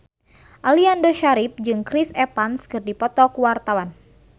Aliando Syarif jeung Chris Evans keur dipoto ku wartawan